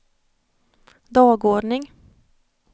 dagordning